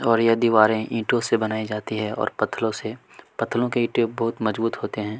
और यह दीवारें ईंटो से बनाई जाती है और पथरो से पथरो से पत्थरो के ईंटे बहुत मजबूत होते है।